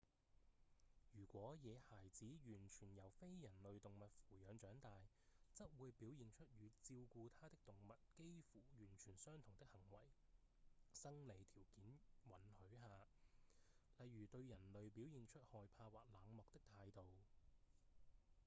如果野孩子完全由非人類動物扶養長大則會表現出與照顧他的動物幾乎完全相同的行為生理條件允許下例如對人類表現出害怕或冷漠的態度